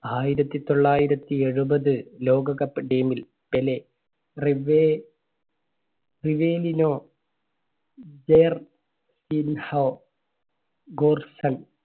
ആയിരത്തി തൊള്ളായിരത്തി എഴുപത് ലോക കപ്പ് team ൽ പെലെ, റിവേ റിവേലിനോ, ജേർ~സിൻഹോ, ഗൂർസൺ